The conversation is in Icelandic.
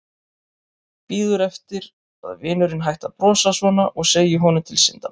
Bíður eftir að vinurinn hætti að brosa svona og segi honum til syndanna.